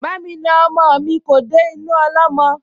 Ba'mi na ọmọ mi kò dénú ọlọ́mọ